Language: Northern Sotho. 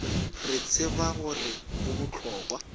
re tseba gore go bohlokwa